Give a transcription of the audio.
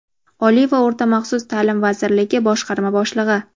Oliy va o‘rta maxsus ta’lim vazirligi boshqarma boshlig‘i;.